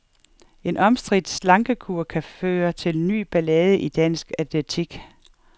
En omstridt slankekur kan føre til ny ballade i dansk atletik.